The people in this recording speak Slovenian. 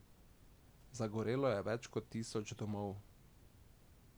Zgorelo je več kot tisoč domov.